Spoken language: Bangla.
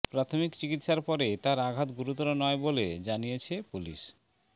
প্রাথমিক চিকিৎসার পরে তার আঘাত গুরুতর নয় বলে জানিয়েছে পুলিশ